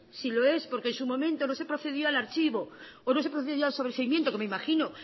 si lo es porque en su momento no se procedía al archivo o no se procedió al sobreseimiento que me imagino